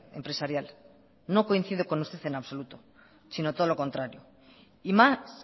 empresarial no coincido con usted en absoluto si no todo lo contrario y más